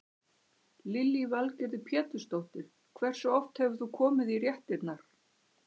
Lillý Valgerður Pétursdóttir: Hversu oft hefur þú komið í réttirnar?